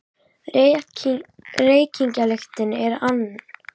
Reykingalyktin er ann